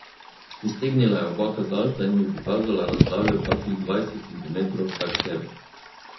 Iztegnila je oba kazalca in mi pokazala razdaljo kakih dvajset centimetrov vsaksebi.